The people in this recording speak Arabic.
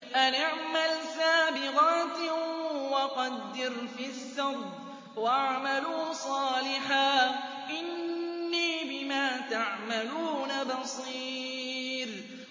أَنِ اعْمَلْ سَابِغَاتٍ وَقَدِّرْ فِي السَّرْدِ ۖ وَاعْمَلُوا صَالِحًا ۖ إِنِّي بِمَا تَعْمَلُونَ بَصِيرٌ